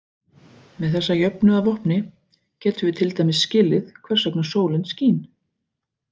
Með þessa jöfnu að vopni getum við til dæmis skilið hvers vegna sólin skín.